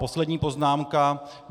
Poslední poznámka.